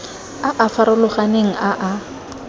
a a farologaneng a a